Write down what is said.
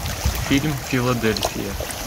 фильм филадельфия